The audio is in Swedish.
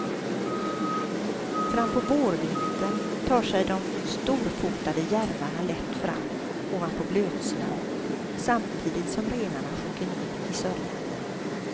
Fram på vårvintern tar sig de storfotade järvarna lätt fram ovanpå blötsnön samtidigt som renarna sjunker ner i sörjan.